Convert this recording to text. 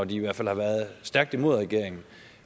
i hvert fald har været stærkt imod regeringen